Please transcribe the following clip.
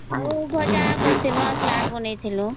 ଆଉ ଭଜା କରିଥିଲୁ ସାଲାଡ଼ ବନେଇଥିଲୁ